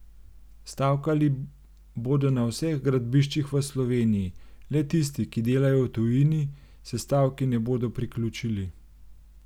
Stavkali bodo na vseh gradbiščih v Sloveniji, le tisti, ki delajo v tujini, se stavki ne bodo priključili.